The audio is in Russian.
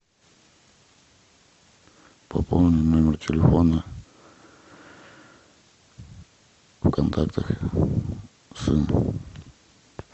пополни номер телефона в контактах сын